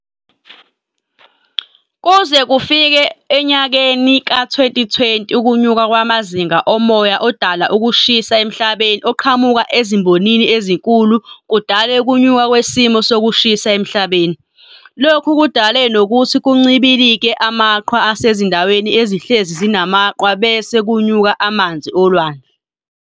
Kuze kufike enyakeni ka-2020 ukunyuka kwamazinga omoya odala ukushisha emhlabeni oqhamuka ezimbonini ezinkulu kudale ukunyuka kwesimo sokushisa emhlabeni. Lokhu kudale nokuthi kuncibilike amaqhwa asezindaweni ezihlezi zinamaqwa bese kunyuka amanzi olwandle.